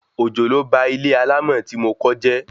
Òjò ló ba ilé alámọ̀ tí mo kọ́ jẹ́